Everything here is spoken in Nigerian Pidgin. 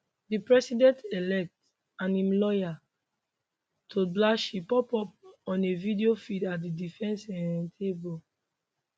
di presidentelect and im lawyer todd blanche pop up on a video feed at di defence um table